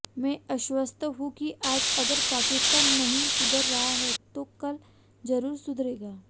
मैं आश्वस्त हूं कि आज अगर पाकिस्तान नहीं सुधर रहा है तो कल जरूर सुधरेगा